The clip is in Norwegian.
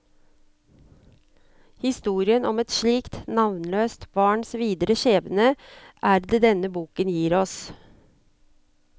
Historien om et slikt navnløst barns videre skjebne er det denne boken gir oss.